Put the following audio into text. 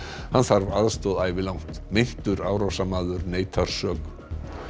hann þarf aðstoð ævilangt meintur árásarmaður neitar sök